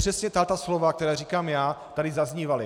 Přesně tato slova, která říkám já, tady zaznívala.